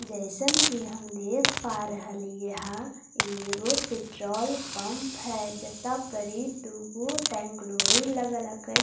जैसन कि हम देख पा रहे लिए है यह वो पेट्रोल पंप है जता परी दो टैंक लोरी अलग अलग --